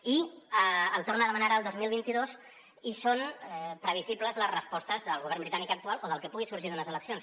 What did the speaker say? i el torna a demanar ara el dos mil vint dos i són previsibles les respostes del govern britànic actual o del que pugui sorgir d’unes eleccions